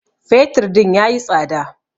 fetur din ya yi tsada